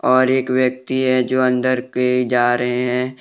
और एक व्यक्ति हैं जो अंदर के जा रहे हैं।